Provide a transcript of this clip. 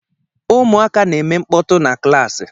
Ụmụaka na-eme mkpọtụ na klaasị